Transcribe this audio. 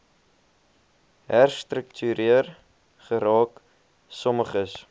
herstruktuering geraak sommiges